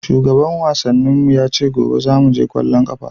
Shugaban wasannin mu ya ce gobe zamu je ƙwallon ƙafa.